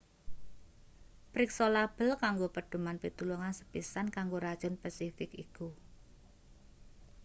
priksa label kanggo pedhoman pitulungan sepisan kanggo racun pesifik iku